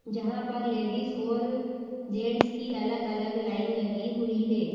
जहां पर लेडीज और जेंट्स की अलग अलग लाइन लगी हुई है।